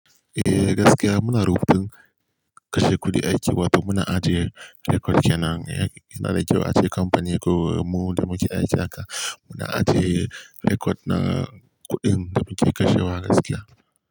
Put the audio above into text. Gaskiya muna rubutun kashe kuɗi aiki wato muna ajiye rekod kenan. Ina da kyau ace kamfani ko mu da muke aiki haka muna ajiye rekod na kuɗin da muke kashewa gaskiya.